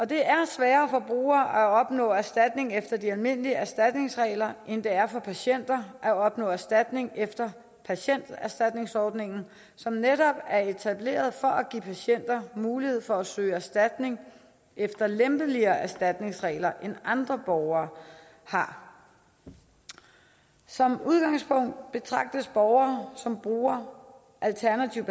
det er sværere for brugere at opnå erstatning efter de almindelige erstatningsregler end det er for patienter at opnå erstatning efter patienterstatningsordningen som netop er etableret for at give patienter mulighed for at søge erstatning efter lempelige erstatningsregler end andre borgere har som udgangspunkt betragtes borgere som er brugere af alternativ